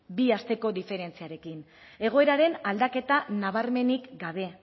bi asteko diferentziarekin egoeraren aldaketa nabarmenik gabe